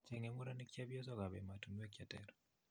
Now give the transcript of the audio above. Chenge murenik chepyosok ap emotinweek cheter